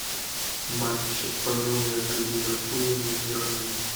матч апл между ливерпулем и бернли